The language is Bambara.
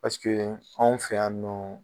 Paseke anw fɛ yan nɔ